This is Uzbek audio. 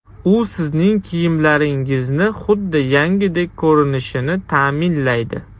U sizning kiyimlaringizni xuddi yangidek ko‘rinishini ta’minlaydi.